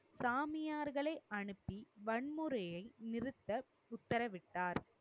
சாமியார்களை அனுப்பி வன்முறையை நிறுத்த உத்தரவிட்டார்.